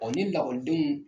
ni lakɔlidenw